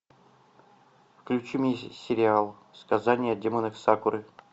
включи мне сериал сказание о демонах сакуры